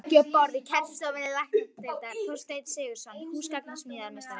Bekki og borð í kennslustofur læknadeildar: Þorsteinn Sigurðsson, húsgagnasmíðameistari.